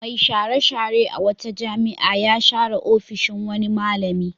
Mai share-share a wata jami'a ya share ofishin wani malami.